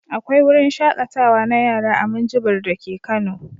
Akwai wruin shaƙatawa na yara a Minjibir dake Kano.